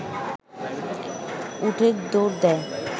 উঠে দৌড় দেয়